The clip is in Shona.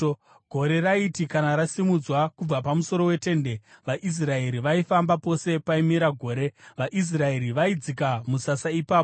Gore raiti kana rasimudzwa kubva pamusoro peTende, vaIsraeri vaifamba; pose paimira gore, vaIsraeri vaidzika musasa ipapo.